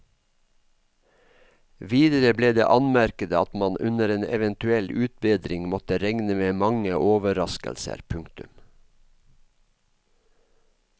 Videre ble det anmerket at man under en eventuell utbedring måtte regne med mange overraskelser. punktum